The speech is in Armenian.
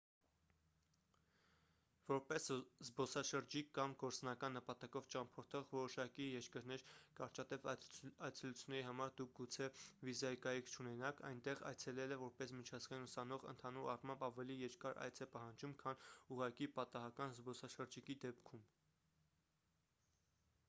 որպես զբոսաշրջիկ կամ գործնական նպատակով ճամփորդող որոշակի երկրներ կարճատև այցելությունների համար դուք գուցե վիզայի կարիք չունենաք այնտեղ այցելելը որպես միջազգային ուսանող ընդհանուր առմամբ ավելի երկար այց է պահանջում քան ուղղակի պատահական զբոսաշրջիկի դեպքում